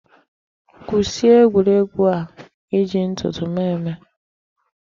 Kwụsị egwuregwu a iji ntụtụ m eme.